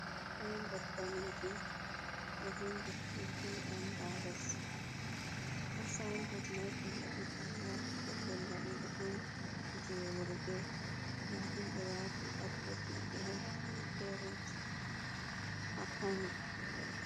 Saynbot danejum, ɗo vindi tiripul embabas asynbod mai ɓe wadita na pellel laɓugo on je worɓe nda ɗum ɓe wati atves maɓɓe ha byparot ha kano.